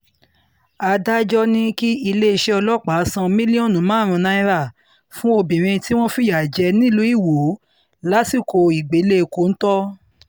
adájọ́ ní kí iléeṣẹ́ ọlọ́pàá san mílíọ̀nù márùn-ún náírà fún obìnrin tí wọ́n fìyà jẹ nílùú iwọ lásìkò ìgbẹ́lẹ̀ kọ́ńtò